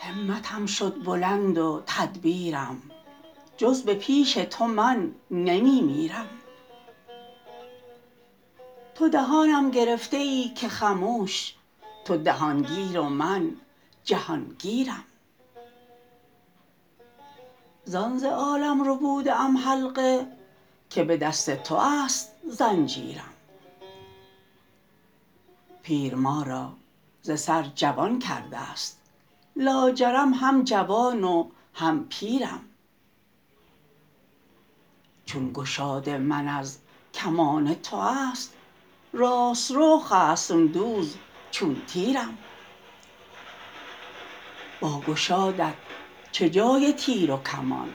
همتم شد بلند و تدبیرم جز به پیش تو من نمی میرم تو دهانم گرفته ای که خموش تو دهان گیر و من جهان گیرم زان ز عالم ربوده ام حلقه که به دست توست زنجیرم پیر ما را ز سر جوان کرده ست لاجرم هم جوان و هم پیرم چون گشاد من از کمان تو است راست رو خصم دوز چون تیرم با گشادت چه جای تیر و کمان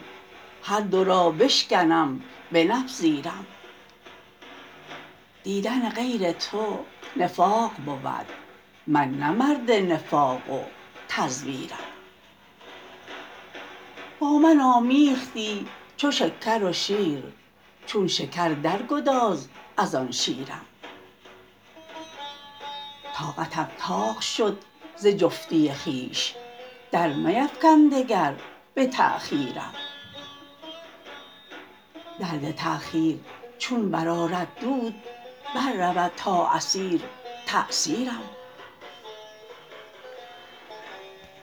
هر دو را بشکنم بنپذیرم دیدن غیر تو نفاق بود من نه مرد نفاق و تزویرم با من آمیختی چو شکر و شیر چون شکر در گداز از آن شیرم طاقتم طاق شد ز جفتی خویش در میفکن دگر به تأخیرم درد تأخیر چون برآرد دود بر رود تا اثیر تأثیرم